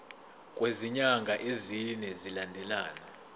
kwezinyanga ezine zilandelana